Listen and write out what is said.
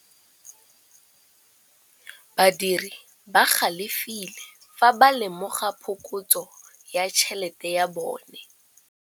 Badiri ba galefile fa ba lemoga phokotsô ya tšhelête ya bone.